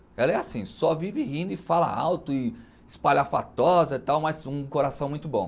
Ela é assim, só vive rindo e fala alto e espalhafatosa e tal, mas um coração muito bom.